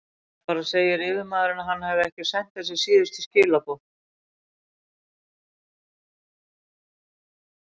Ef bara segir yfirmaðurinn, hann hefði ekki sent þessi síðustu skilaboð.